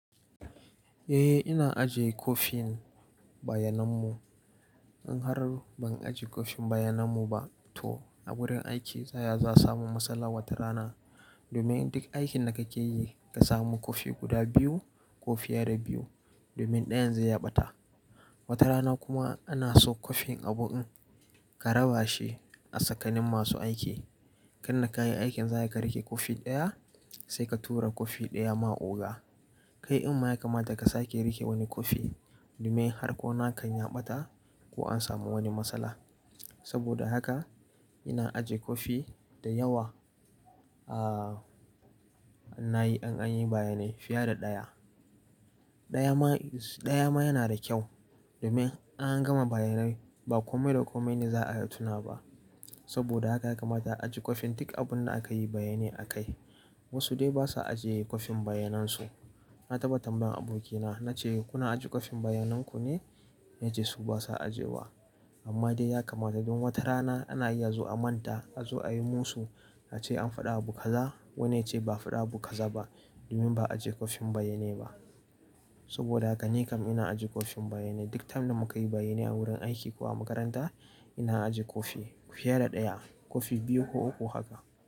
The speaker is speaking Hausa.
Eh, ina ajiye kwafin bayanan mu. In har ban ajiye kwafin bayanan mu ba to a wurin aiki ta ya za a samu matsala wata rana? Domin duk aikin da kake yi ka samu kwafi guda biyu, ko fiye da biyu. Domin ɗayan zai ya ɓata. Wata rana kuma ana so kwafin abun ka raba shi a tsakanin masu aiki. Kai da ka yi aikin za ka rike kwafi ɗaya sai ka tura kwafi ɗaya ma oga. Kai din ma ya kamata ka sake rike wani kwafi, domin har ko na ka ya ɓata ko an samu wani matsala. Saboda haka ina ajiye kwafi da yawa ahhh in nayi, in anyi bayanai fiye da ɗaya. Ɗaya ma, ɗaya ma yana da kyau domin in an gama bayanai ba kome da kome ne za'a tuna ba. Saboda haka ya kamata a ajiye kwafin duk abun da akayi bayanai akai. Wasu dai basa ajiye kwafin bayanan su. Na taba tambayan abokina na ce "kuna ajiye kwafin bayanan ku ne?" Ya ce su basa ajiyewa. Amma dai ya kamata dun wata rana ana iya zuwa a manta, a zo a yi musu. A ce an faɗi abu kaza, wani yace ba a faɗi abu kaza ba domin ba a ajiye kwafin bayanai ba. Saboda haka ni kam ina ajiye kwafin bayanai. Duk time da mukayi bayanai a wurin aiki ko a makaranta ina ajiye kwafi fiye da ɗaya. Kwafi biyu ko uku haka.